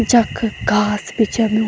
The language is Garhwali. जख घास भी छनु।